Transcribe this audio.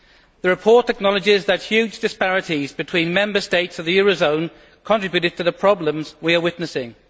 The report acknowledges that huge disparities between Member States of the eurozone contributed to the problems we are witnessing.